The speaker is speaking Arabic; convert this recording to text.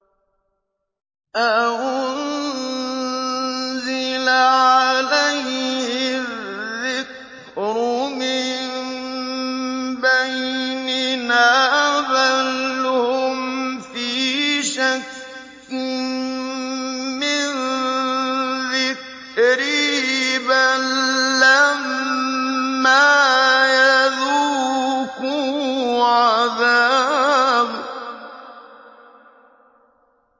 أَأُنزِلَ عَلَيْهِ الذِّكْرُ مِن بَيْنِنَا ۚ بَلْ هُمْ فِي شَكٍّ مِّن ذِكْرِي ۖ بَل لَّمَّا يَذُوقُوا عَذَابِ